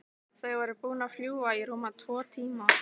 Þau voru búin að fljúga í rúma tvo tíma.